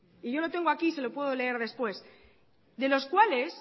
y yo lo tengo aquí y se lo puedo leer después de los cuales